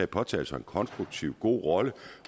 påtaget sig en konstruktiv og god rolle